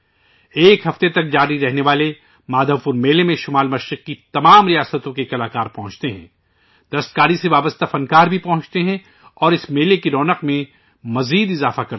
ایک ہفتہ تک چلنے والے مادھو پور میلے میں شمال مشرق کی تمام ریاستوں سے فنکار پہنچتے ہیں، ہنڈی کرافٹ دستکاری سے جڑے فنکار جرٹے ہیں اور اس میلے کی رونق کو چار چاند لگ جاتے ہیں